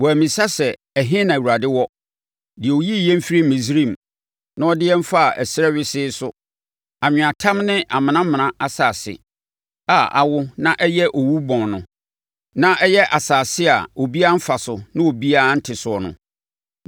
Wɔammisa sɛ, ‘Ɛhe na Awurade wɔ? Deɛ ɔyii yɛn firii Misraim na ɔde yɛn faa ɛserɛ wesee so, anweatam ne amenamena asase a awo na ayɛ owubɔn no. Na ɛyɛ asase a obiara mfa so na obiara nte soɔ no.’